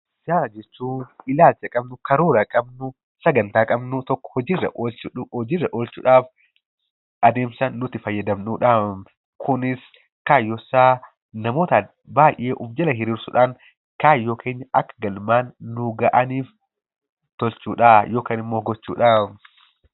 Siyaasa jechuun ilaalcha qabnu, karoora qabnu, sagantaa qabnu, tokko hojiirra oolchuudhaaf adeemsa nuti fayyadamnudha. Kunis kaayyoonsaa namoota baay'ee of jala hiriirsuudhaan kaayyoon keenya akka galmaan nuu ga'aniif tottolchuudha yookaan immoo gochuudha.